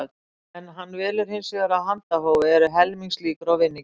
Ef hann velur hins vegar af handahófi eru helmings líkur á vinningi.